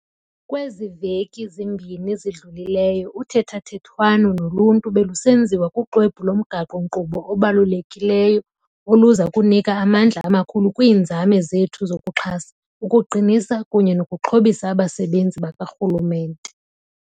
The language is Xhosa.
Kwezi veki zimbini zidlulileyo, uthethathethwano noluntu belusenziwa kuxwebhu lomgaqo-nkqubo obalulekileyo oluza kunika amandla amakhulu kwiinzame zethu zokuxhasa, ukuqinisa, kunye nokuxhobisa abasebenzi bakarhulumente.